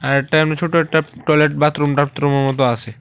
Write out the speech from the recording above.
আর একটা এমনি ছোট একটা টয়লেট বাথরুম ঠাতরুমের মত আছে।